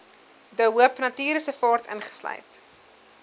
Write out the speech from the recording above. de hoopnatuurreservaat insluit